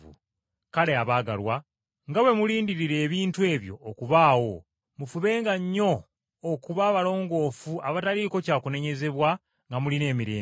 Kale, abaagalwa, nga bwe mulindirira ebintu ebyo okubaawo mufubenga nnyo okuba abalongoofu abataliiko kya kunenyezebwa nga mulina emirembe.